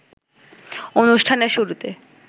অনুষ্ঠানের শুরুতে